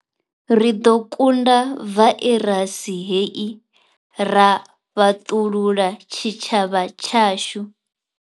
Ri ḓo kunda vairasi hei ra fhaṱulula tshitshavha tshashu.